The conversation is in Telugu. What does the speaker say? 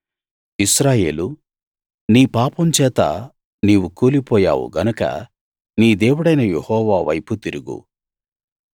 ఇశ్రాయేలూ నీ పాపం చేత నీవు కూలిపోయావు గనక నీ దేవుడైన యెహోవా వైపు తిరుగు